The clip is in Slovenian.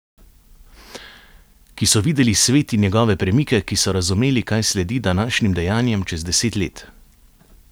Ki so videli svet in njegove premike, ki so razumeli, kaj sledi današnjim dejanjem čez deset let?